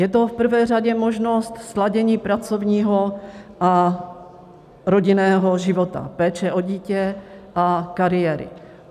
Je to v prvé řadě možnost sladění pracovního a rodinného života, péče o dítě a kariéry.